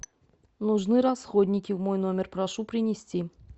нужны расходники в мой номер прошу принести